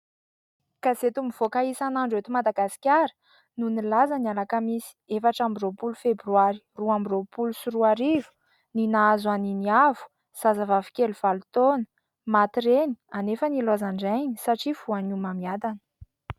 Gazety mivoaka isanandro eto Madagasikara no nilaza ny alakamisy efatrambiroapoly febroary roambiroapolo sy roariro ny nahazo an' i Niavo zaza vavy kely valo taona maty reny anefa niloazan-drainy satria lavon' ny homamiadana.